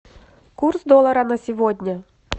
курс доллара на сегодня